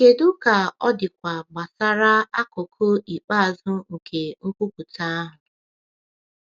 Kedu ka ọ dịkwa gbasara akụkụ ikpeazụ nke nkwupụta ahụ?